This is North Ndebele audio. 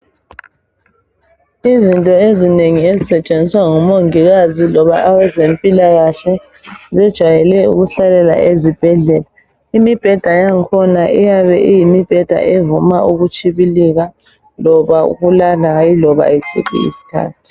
Izinto ezinengi ezisetshenziwa ngomongikazi loba abezempilakahle zijwayele ukuhlalela ezibhedlela. Imibheda yang'khona iyabe iyimibheda evuma ukutshibilika loba ukulala hayi ioba yisiphi isikhathi.